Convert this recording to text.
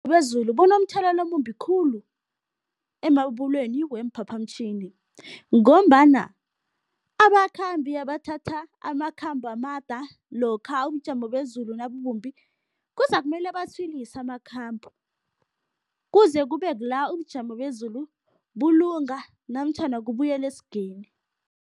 Bezulu bunomthelelo omumbi khulu emabubulweni weemphaphamtjhini ngombana abakhambi abathatha amakhambo amada lokha ubujamo bezulu nabubumbi kuzakumele batshwilise amakhambo, kuze kube kula ubujamo bezulu bulunga namtjhana kubuyela esigeni.